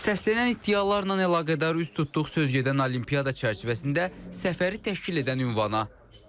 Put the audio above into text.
Səslənən iddialarla əlaqədar üz tutduq söz gedən olimpiyada çərçivəsində səfəri təşkil edən ünvana.